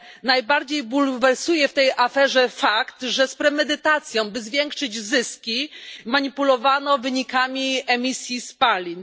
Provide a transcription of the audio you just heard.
Najbardziej bulwersuje w tej aferze fakt, że z premedytacją, by zwiększyć zyski, manipulowano wynikami emisji spalin.